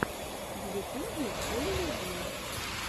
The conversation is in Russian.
в ютубе элли ди